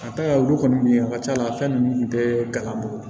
A taa olu kɔni a ka c'a la fɛn ninnu tun tɛ galabu